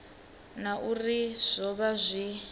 na uri zwo vha zwi